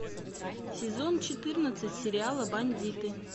сезон четырнадцать сериала бандиты